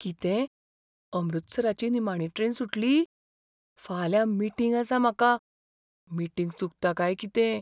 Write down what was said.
कितें, अमृतसराची निमाणी ट्रेन सुटली? फाल्यां मीटिंग आसा म्हाका. मीटिंग चुकता काय कितें?